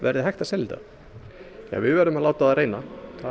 verði hægt að selja þetta við verðum að láta á það reyna